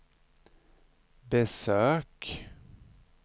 besök